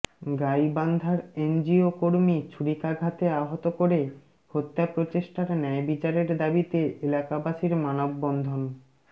গাইবান্ধার এনজিও কর্মী ছুরিকাঘাতে আহত করে হত্যা প্রচেষ্টার ন্যায় বিচারের দাবিতে এলাকাবাসির মানববন্ধন